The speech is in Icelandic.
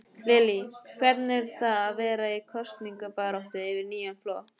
Lillý: Hvernig er það vera í kosningabaráttu fyrir nýjan flokk?